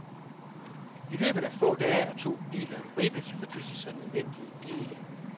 I løbet af få dage er to biler rippet for disse så nødvendige dele.